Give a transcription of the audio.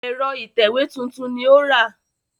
Ẹ̀rọ ìtẹ̀wé tuntun ni ó rà